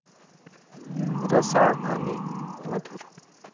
रसाळ आणि मधुर।